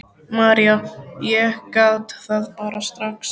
María: Ég gat það bara strax.